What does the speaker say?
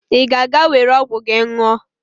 Ị ga-aga were ọgwụ gị nwụọ!